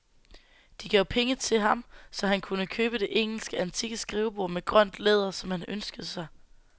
De gav penge til ham, så han nu kunne købe det engelske, antikke skrivebord med grønt læder, som han ønskede sig.